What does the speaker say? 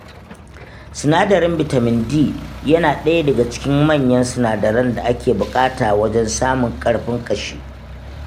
Sinadarin bitamin D yana ɗaya daga cikin manyan sinadaran da ake buƙata wajen samun ƙarfin ƙashi.